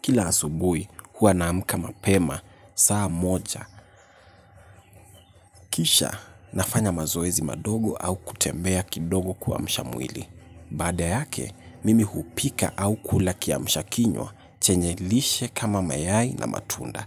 Kila asubuhi huwa naamka mapema, saa moja, kisha nafanya mazoezi madogo au kutembea kidogo kuamsha mwili. Baada yake, mimi hupika au kula kiamshakinywa, chenye lishe kama mayai na matunda.